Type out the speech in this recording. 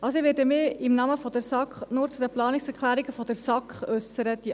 Ich werde mich im Namen der SAK nur zu den Planungserklärungen der SAK äussern;